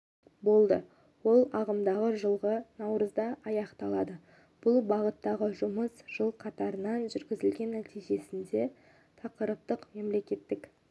болды ол ағымдағы жылғы наурызда аяқталды бұл бағыттағы жұмыс жыл қатарынан жүргізілді нәтижесінде тақырыптық мемлекеттік